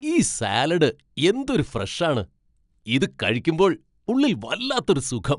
ഈ സാലഡ് എന്തൊരു ഫ്രഷ് ആണ്. ഇത് കഴിക്കുമ്പോൾ ഉള്ളിൽ വല്ലാത്തൊരു സുഖം.